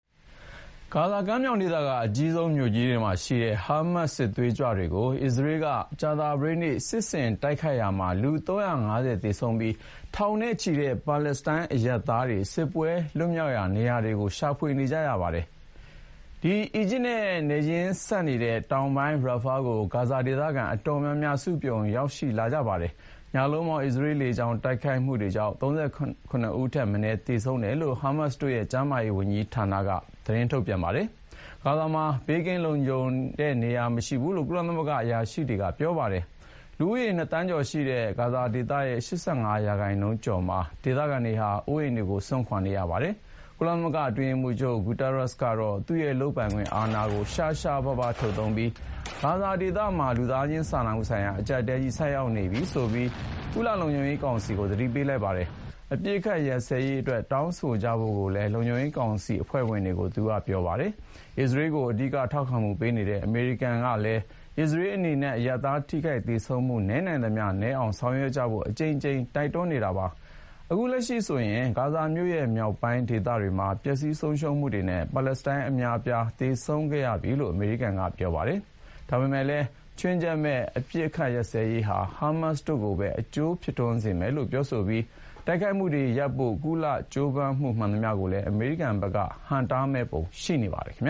ဂါဇာကမ်းမြောင်က အကြီးဆုံးမြို့ကြီးတွေမှာရှိတဲ့ ဟားမတ်စ်စစ်သွေးကြွတွေကို အစ္စရေးက ကြာသာပတေးနေ့ စစ်ဆင်တိုက်ခိုက်မှုမှာ လူ ၃၅၀ သေဆုံးပြီး ထောင်နဲ့ချီတဲ့ ပါလက်စတိုင်းအရပ်သားတွေဟာ စစ်ပွဲလွတ်ရာနေရာတွေကို ရှာဖွေနေကြရပါတယ်။ အီဂျစ်နဲ့နယ်ချင်းစပ်နေတဲ့ တောင်ပိုင်း Rafah ကို ဂါဇာဒေသခံအတော်များများ စုံပြုံရောက်ရှိလာကြပါတယ်။ ဟားမတ်စ်တို့ရဲ့ ကျန်းမာရေးဝန်ကြီးဌာနကတော့ ညလုံးပေါက် အစ္စရေးလေကြောင်းတိုက်ခိုက်မှုတွေကြောင့် ၃၇ ဦးထက်မနည်း သေဆုံးတယ်လို့ပဲ သတင်းထုတ်ပြန်ထားပါတယ်။ ဂါဇာမှာ ဘေးကင်းလုံခြုံတဲ့နေရာမရှိဘူးလို့ ကုလသမဂ္ဂအရာရှိတွေက ပြောပါတယ်။ လူဦးရေ နှစ်သန်းကျော်ရှိတဲ့ ဂါဇာဒေသ ၈၅ ရာခိုင်နှုန်းကျော်မှာ ဒေသခံတွေဟာ အိုးအိမ်တွေ ခိုလှုံရာနေရာတွေကို စွန့်ခွာနေကြရပါတယ်။ ကုလသမဂ္ဂအတွင်းရေးမှူးချုပ် Antonio Guterres ကတော့ သူ့ရဲ့လုပ်ပိုင်ခွင့်အာဏာကို ရှားရှားပါးပါးထုတ်သုံးပြီး ဂါဇာဒေသမှာ လူသားချင်းစာနာမှုဆိုင်ရာအကျပ်အတည်းကြီး ဆိုက်ရောက်နေပြီဆိုပြီး ကုလ လုံခြုံရေးကောင်စီကို သတိပေးလိုက်ပါတယ်။ အပစ်အခတ်ရပ်စဲရေးအတွက် တောင်းဆိုကြဖို့ကိုလည်း လုံခြုံရေးကောင်စီအဖွဲ့ဝင်တွေကို သူက တိုက်တွန်းပါတယ်။ အစ္စရေးကို အဓိကထောက်ခံနေတဲ့ အမေရိကန်ပြည်ထောင်စုကလည်း အစ္စရေးအနေနဲ့ အရပ်သားထိခိုက်သေဆုံးမှုတွေ နည်းနိုင်သမျှနည်းအောင် ဆောင်ရွက်ဖို့ အကြိမ်ကြိမ်တိုက်တွန်းနေပါတယ်။ အခုလက်ရှိဆိုရင် ဂါဇာမြို့နဲ့မြောက်ပိုင်းဒေသတွေမှာ ပျက်စီးဆုံးရှုံးမှုတွေနဲ့ ပါလက်စတိုင်းအများအပြား သေဆုံးခဲ့ရပြီလို့ အမေရိကန်က ပြောပါတယ်။ ဒါပေမယ့်လည်း ခြွင်းချက်မဲ့အပစ်အခတ်ရပ်စဲမှုဟာ ဟားမတ်စ်တို့ကိုပဲ အကျိုးဖြစ်စေမယ်လို့ ဆိုပြီး တိုက်ခိုက်မှုတွေရပ်ဖို့ ကုလ ကြိုးပမ်းမှုမှန်သမျှကိုလည်း အမေရိကန်ဘက်က ဟန့်တားမယ့်ပုံရှိနေပါတယ်။ ဒီဇ